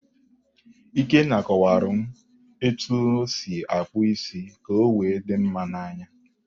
Ikenna kọwaara m etu o si akpụ isi ka o wee dị mma n'anya.